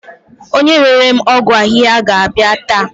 Onye rere m ọgwụ ahihia ga-abia ta